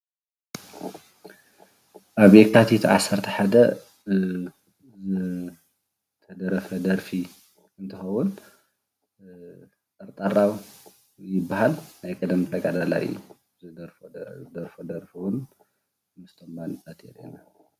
ኣብ የካቲት 11 ዝተደረፈ ደርፊ እንትኸውን ጠርጠራው ይበሃል ።ናይ ቀደም ተጋደላይ እዩ ። ዝደረፎ ደርፊ እዉን